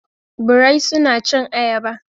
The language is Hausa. birai suna cin ayaba.